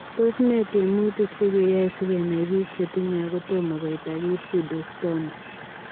Tos nee tiemutik chekeyae sikenai piik chetinyee agotomaa koitaa kiy pseudoxsthoma